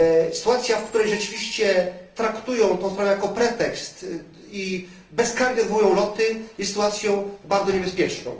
Sytuacja, w której rzeczywiście traktują tę sprawę jako pretekst i bezkarnie odwołują loty, jest sytuacją bardzo niebezpieczną.